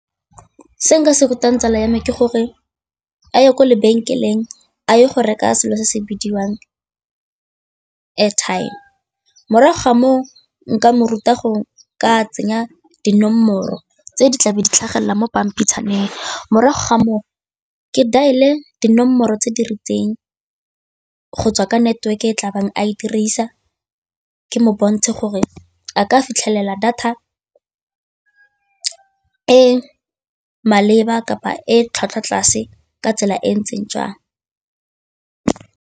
Se nka se rutang tsala ya me ke gore a ye kwa lebenkeleng a ye go reka selo se se bidiwang airtime, morago ga moo nka mo ruta go ka tsenya dinomoro tse di tlabe di tlhagelela mo pampitshaneng, morago ga moo ke dial-e dinomoro tse di rileng go tswa ka network-e e tla bangwe a e dirisa ke mo bontshe gore a ka fitlhelela data e maleba kapa e tlhwatlhwa tlase ka tsela e ntseng jang.